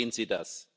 Wie sehen Sie das?